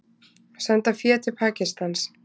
Senda fé til Pakistans